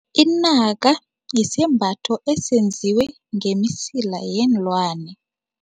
Inaka yisembatho esenziwe ngemisila yeenlwane.